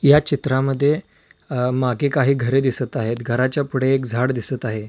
या चित्रामद्धे अ मागे काही घरे दिसत आहेत घराच्या पुढे एक झाड दिसत आहे.